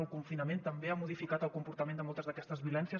el confinament també ha modificat el comportament de moltes d’aquestes violències